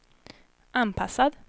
anpassad